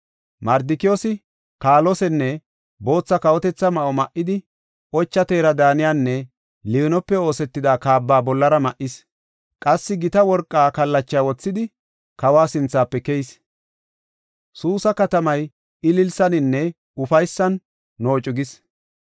Mardikiyoosi kaalosenne bootha kawotetha ma7o ma7idi, ocha teera daaniyanne liinope oosetida kaaba bollara ma7is; qassi gita worqa kallachaa wothidi, kawa sinthafe keyis. Suusa katamay ililisaninne ufaysan noocu gis.